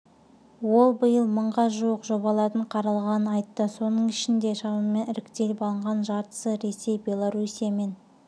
ол биыл мыңға жуық жобалардың қаралғанын айтты соның ішінде шамамен іріктеліп алынған жартысы ресей беларуссия мен